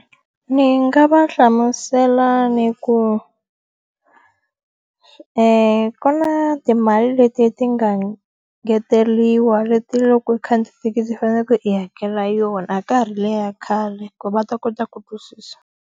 Ni nga va hlamusela ni ku ku na timali leti ti nga ngeteriwa leti loko u khandziye thekisi i faneleke i hakela yona, a ka ha ri le ya khale ku va ta kota ku ku susa.